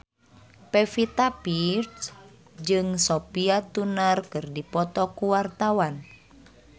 Pevita Pearce jeung Sophie Turner keur dipoto ku wartawan